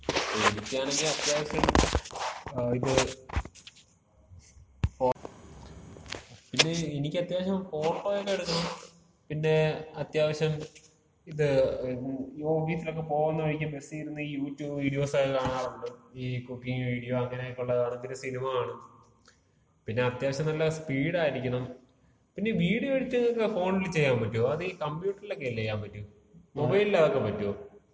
എനിക്കാണെങ്കി അത്യാവശ്യം ഇത്, എനിക്കത്യാവശ്യം ഫോട്ടോക്ക എടുക്കണം. പിന്നെ അത്യാവശ്യം ഇത് ഓഫീസിലക്ക പോകുന്ന വഴിക്ക് ബസ്സിരുന്ന് യൂട്യൂബ് വീഡിയോസ് ഒക്കെ കാണാറുണ്ട്. ഈ കുക്കിംഗ് വീഡിയോ, അങ്ങനെക്ക ഒള്ളതാണെങ്കിലും, പിന്ന ഈ സിനിമ കാണും. പിന്ന അത്യാവശ്യം നല്ല സ്പീഡായിരിക്കണം. പിന്ന വീഡിയോ എഡിറ്റിംഗക്ക ഫോണില് ചെയ്യാമ്പറ്റോ? അതീ കമ്പ്യൂട്ടറിലക്കല്ലേ ചെയ്യാമ്പറ്റൂ? മൊബൈലില് അതൊക്കെ പറ്റോ?